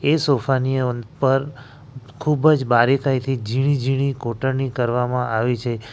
એ સોફાની ઉપર ખુબ જ બારીકાઈથી ઝીણી ઝીણી કોટરણી કરવામાં આવી છે.